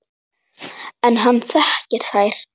En hann þekkir þær.